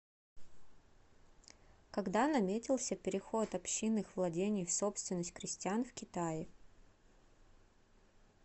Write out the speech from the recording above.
когда наметился переход общинных владений в собственность крестьян в китае